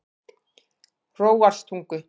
Hróarstungu